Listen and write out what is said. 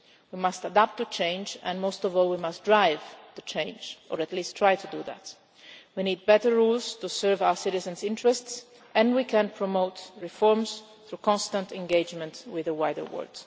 We must adapt to change and most of all, we must drive the change or at least try to do that. We need better rules to serve our citizens' interests and we can promote reforms through constant engagement with the wider world.